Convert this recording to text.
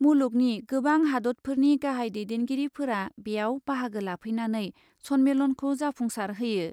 मुलुगनि गोबां हादतफोरनि गाहाइ दैदेनगिरिफोरा बेयाव बाहागो लाफैनानै सन्मेलनखौ जाफुंसार होयो ।